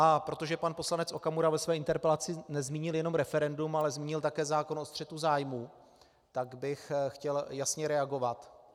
A protože pan poslanec Okamura ve své interpelaci nezmínil jenom referendum, ale zmínil také zákon o střetu zájmů, tak bych chtěl jasně reagovat.